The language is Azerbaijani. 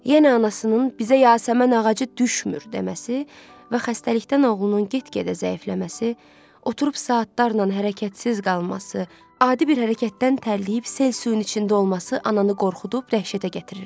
Yenə anasının "bizə yasəmən ağacı düşmür" deməsi və xəstəlikdən oğlunun get-gedə zəifləməsi, oturub saatlarla hərəkətsiz qalması, adi bir hərəkətdən tərləyib sel suyun içində olması ananı qorxudub dəhşətə gətirirdi.